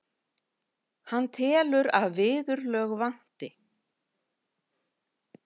Hann telur að viðurlög vanti.